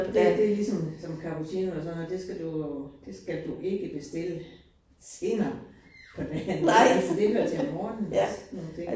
Det det ligesom cappuccino og sådan noget det skal du det skal du ikke bestille senere på dagen altså det hører til om morgenen og sådan nogle ting